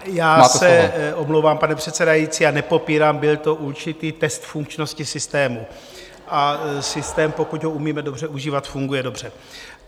Já se omlouvám, pane předsedající, a nepopírám, byl to určitý test funkčnosti systému a systém, pokud ho umíme dobře užívat, funguje dobře.